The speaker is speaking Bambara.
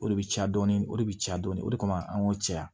O de bɛ caya dɔɔni o de bɛ caya dɔɔni o de kama an k'o caya